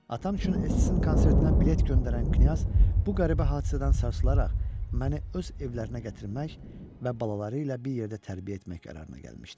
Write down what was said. Atam üçün Esstin konsertinə bilet göndərən Knyaz bu qəribə hadisədən sarsılaraq məni öz evlərinə gətirmək və balaları ilə bir yerdə tərbiyə etmək qərarına gəlmişdi.